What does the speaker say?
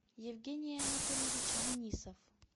евгений анатольевич денисов